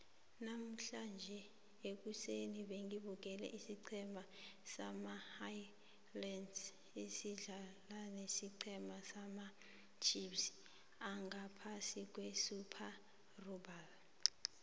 namuhlange ekuseni bengibukele isiceme sama highlanders sidlala nesicema samacheifs angaphasi kwesuper rugby